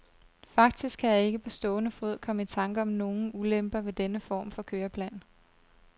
Faktisk kan jeg ikke på stående fod komme i tanker om nogen ulemper ved denne form for køreplan.